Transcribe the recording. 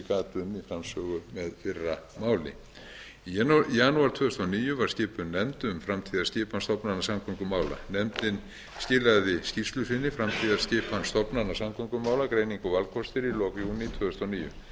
og viðhalds eins og ég gat um í framsögu með fyrra máli í janúar tvö þúsund og níu var skipuð nefnd um framtíðarskipan stofnana samgöngumála nefndin skilaði skýrslu sinni framtíðarskipan stofnana samgöngumála greining og valkostir í lok júní tvö þúsund og níu